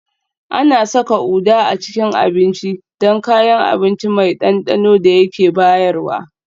Ana saka Uda a cikin abinci don kayan abinci mai ɗanɗanon da yake bayarwa